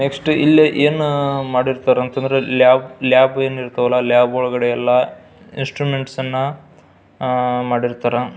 Next ಇಲ್ಲಿ ಏನ್ ಮಾಡಿರ್ತರ್ ಅಂತ ಅಂದ್ರೆ ಲ್ಯಾಬ್ ಏನಿರತವಲ್ಲ ಲ್ಯಾಬ್ ಒಳಗಡೆ ಎಲ್ಲ ಇನ್ಸ್ಟ್ರುಮೆಂಟ್ ನ್ನ ಆ ಮಾಡಿರ್ತರ.